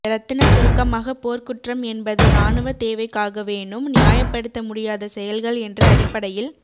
ரத்தின சுருக்கமாக போர்க்குற்றம் என்பது இராணுவ தேவைக்காகவேனும் நியாயப்படுத்த முடியாத செயல்கள் என்ற அடிப்படையில்